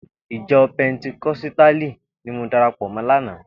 Ijò pèntíkòsítálí ni mò dàrápò mò làná